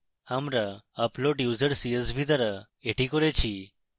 আমরা upload user csv দ্বারা এটি করেছি